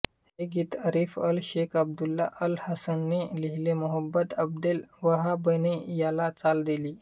हे गीत Arif al Sheikh Abdullah al हसनने लिहिले मोहम्मद अब्देल वहाबने याला चाल दिली